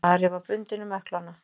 Ari var bundinn um ökklana.